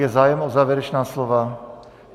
Je zájem o závěrečná slova?